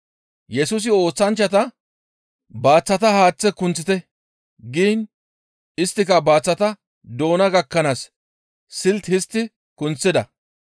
Yesusi oosanchchata, «Baaththata haaththe kunththite» giin isttika baaththata doona gakkanaas siltti histti kunththida.